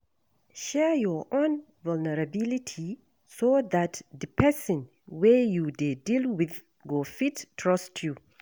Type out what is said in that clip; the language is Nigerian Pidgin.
Share your own vulnerability so dat di person wey you dey deal with go fit trust you.